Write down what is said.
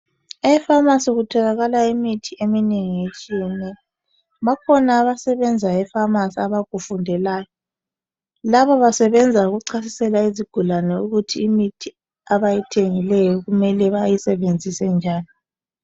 E pharmacy kutholakala imithi eminengi etshiyeneyo bakhona abasebenza e pharmacy abakufundelayo laba basebenza ukuchasisela izigulane ukuthi imithi abayithengileyo kumele bayisebenzise njani.